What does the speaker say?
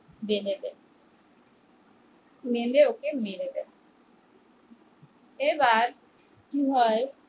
বেঁধে দেয় বেঁধে ওকে মেরে দেয় এবার কি হয়